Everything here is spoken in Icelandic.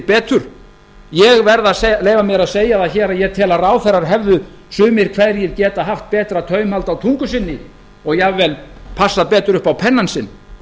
betur ég verð að leyfa mér að segja það hér að ég tel að ráðherrar hefðu sumir hverjir getað haft betra taumhald á tungu sinni og jafnvel passað betur upp á pennann sinn